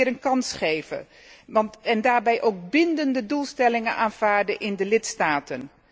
De jeugd weer een kans geven, en daarbij ook bindende doelstellingen vaststellen in de lidstaten.